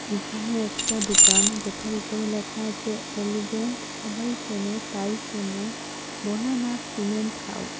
এখানে একটা দোকান যেটার উপরে লেখা আছে এলিগেন্ট সবাই চেনে তাই কেনে বোলানাথ সিমেন্ট হাউস ।